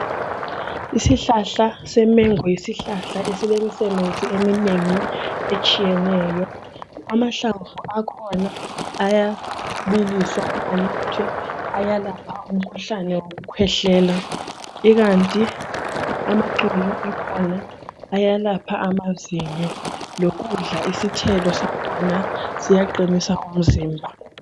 Isihlahla semengo, yisihlahla esilemisebenzi eminengi etshiyeneyo. Amahlamvu akhona ayabiliswa elaphe, ayalapha umkhuhlane wekukwehlela. Ikanti amaxolo akhona ayalapha amazinyo. Lokudla isithelo sakhona siyaqinisa umzimba.